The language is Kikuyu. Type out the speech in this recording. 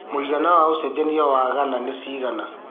mũigana wa ũcenjanĩa wa Ghana nĩ cigana